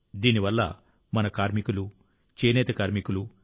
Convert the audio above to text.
దీని వల్ల మన కార్మికులు చేనేత కార్మికులు